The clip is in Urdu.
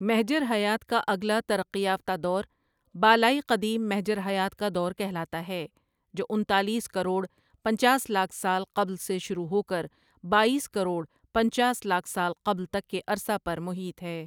محجرحیات کا اگلا ترقی یافتہ دور بالائی قدیم محجر حیات کا دور کہلاتا ہے جو انتالیس کروڑ پنچاس لاکھ سال قبل سے شروع ہو کر باییس کروڑ پنچاس لاکھ سال قبل تک کے عرصہ پر محیط ہے ۔